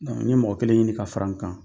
n ye mɔgɔ kelen ɲini ka fara n kan.